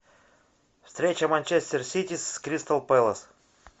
встреча манчестер сити с кристал пэлас